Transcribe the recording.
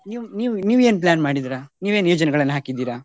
ನೀವ್~ ನೀವ್~ ನೀವೇನ್ plan ಮಾಡಿದಿರಾ ನೀವ್ ಏನ್ ಯೋಚನೆಗಳನ್ನು ಹಾಕಿದಿರಾ?